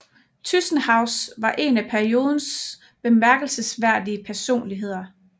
Tyzenhauz var en af periodens bemærkelsesværdige personligheder